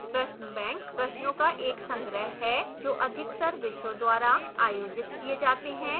प्रश्न bank प्रश्नों का एक संग्रह है जो अधिकतर विषयों द्वारा आयोजित किए जाते हैं